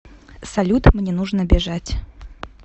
салют мне нужно бежать